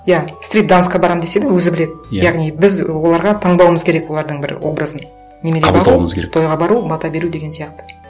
иә стрип дэнсқа барамын десе де өзі біледі иә яғни біз оларға таңдауымыз керек олардың бір образын қабылдауымыз керек тойға бару бата беру деген сияқты